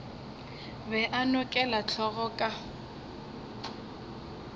be a nokela hlogo ka